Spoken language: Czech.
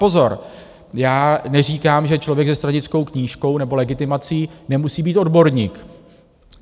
Pozor, já neříkám, že člověk ze stranickou knížkou nebo legitimací nemusí být odborník.